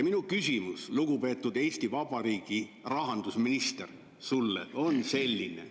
Minu küsimus sulle, lugupeetud Eesti Vabariigi rahandusminister, on selline.